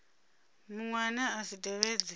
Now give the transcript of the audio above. muṅwe ane a si tevhedze